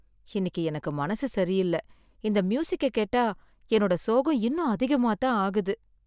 இன்னிக்கு எனக்கு மனசு சரியில்ல, இந்த மியூசிக்க கேட்டா என்னோட சோகம் இன்னும் அதிகமா தான் ஆகுது.